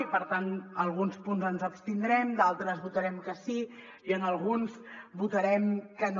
i per tant en alguns punts ens abstindrem en d’altres votarem que sí i en alguns votarem que no